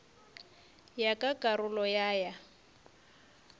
ya ka karolo ya ya